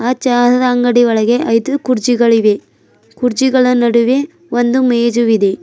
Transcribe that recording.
ಆ ಚಹದ ಅಂಗಡಿಯ ಒಳಗೆ ಐದು ಕುರ್ಚಿಗಳಿವೆ ಕುರ್ಚಿಗಳ ನಡುವೆ ಒಂದು ಮೇಜುವಿದೆ.